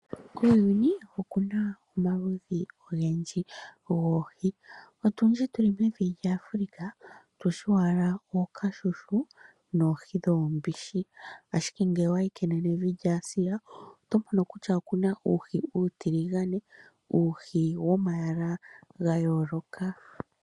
Kuuyuni okuna omaludhi ogendji goohi. Otundji tuli mu Afulika, otushi owala ookashushu, nohi dhoombishi, ashike ngele owayi kenenevi lya Asia, oto mono kutya okuna uuhi uutiligane, uuhi womayala ga yooloka.